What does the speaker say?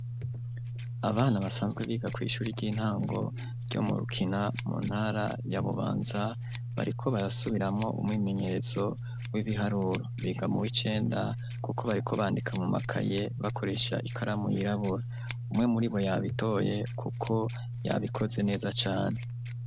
Abana basanzwe biga kw'ishure ry'intango ryo mu Rukina, mu ntara ya Bubanza, bariko barasubiramwo umwimenyerezo w'ibiharuro. Biga mu w'icenda kuko bariko bandika mu makaye, bakoresha ikaramu yirabura. Umwe muribo yabitoye kuko yabikoze neza cane.